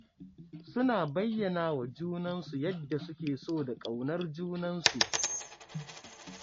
Suna bayyana wa junansu yadda suke so da ƙaunar junansu.